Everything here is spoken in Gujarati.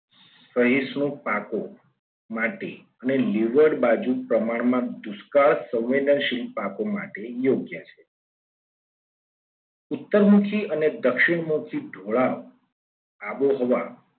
નું પાકું માટે અને લીવડ બાજુ પ્રમાણમાં દુષ્કાળ સંવેદનશીલ પાકો માટે યોગ્ય છે. ઉત્તરમાંથી અને દક્ષિણમાંથી ઢોળાવ આબોહવા